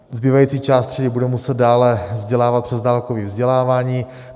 Zbývající část třídy bude muset dále vzdělávat přes dálkové vzdělávání.